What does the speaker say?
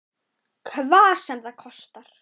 Hvað sem það kostar.